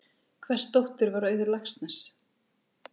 Hvers dóttir var Auður Laxness?